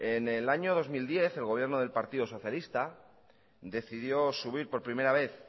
en el año dos mil diez el gobierno del partido socialista decidió subir por primera vez